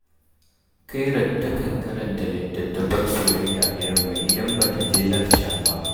Khairat takan karanta littattafan soyayya da yamma idan ba ta je lacca ba